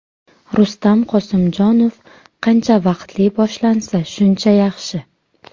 Rustam Qosimjonov: Qancha vaqtli boshlansa, shuncha yaxshi.